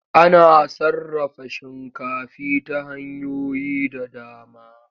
Ana sarrafa shinkafi ta hanyoyi da dama.